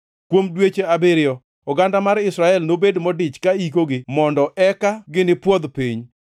“ ‘Kuom dweche abiriyo, oganda mar Israel nobed modich ka ikogi mondo eka gipwodh piny.